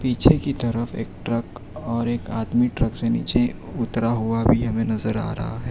पीछे की तरफ एक ट्रक और एक आदमी ट्रक से नीचे उतरा हुआ भी हमें नजर आ रहा है।